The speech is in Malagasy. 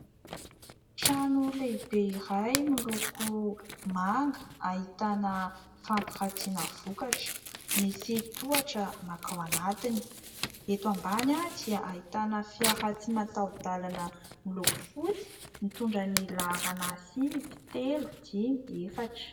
Trano lehibe iray miloko manga, ahitana fampiratiana vokatra. Misy tohatra mankao anatiny. Eto ambany dia ahitana fiara tsy mataho-dalana miloko fotsy, mitondra ny laharana : sivy, telo dimy, efatra.